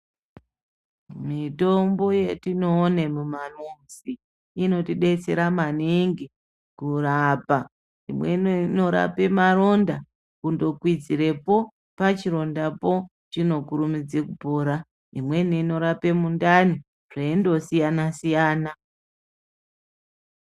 Mitombo yatinoone muma....inotidetsera maningi kurapa. Imwe ino inorape maronda kutokwidzirepo, pachirondapo, chinotokasire kupora. Imweni inorape mundani zveindosiyana-siyana.